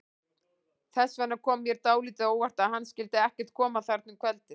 Þess vegna kom mér dálítið á óvart að hann skyldi ekkert koma þarna um kvöldið.